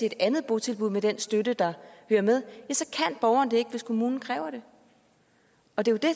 et andet botilbud med den støtte der hører med så kan borgeren ikke hvis kommunen kræver det og det